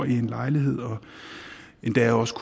i en lejlighed og endda også